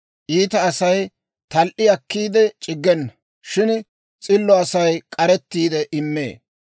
Iita Asay tal"i akkiide c'iggena; shin s'illo Asay k'arettiide immee.